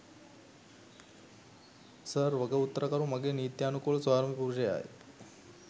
Sir වගඋත්තරකරු මගේ නිත්‍යනුකූල ස්‌වාමිපුරුෂයායි.